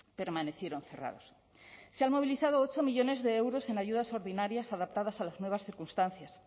permanecieron cerrados se han movilizado ocho millónes de euros en ayudas ordinarias adaptadas a las nuevas circunstancias